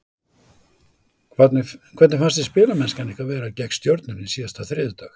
Hvernig fannst þér spilamennskan ykkar vera gegn Stjörnunni síðasta þriðjudag?